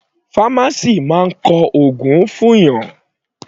Pharmacist máa kọ ògùn fún ni.